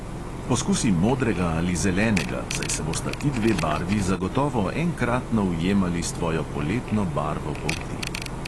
Poskusi modrega ali zelenega, saj se bosta ti dve barvi zagotovo enkratno ujemali s tvojo poletno barvo polti.